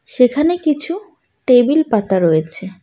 সেখানে কিছু টেবিল পাতা রয়েছে।